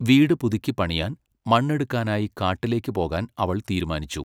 വീട് പുതുക്കിപ്പണിയാൻ, മണ്ണെടുക്കാനായി കാട്ടിലേക്ക് പോകാൻ അവൾ തീരുമാനിച്ചു.